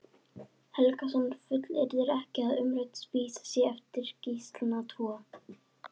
Helgason fullyrðir ekki að umrædd vísa sé eftir Gíslana tvo.